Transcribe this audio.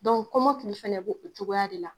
Dɔn kɔmakili fɛnɛ b'o o cogoya de la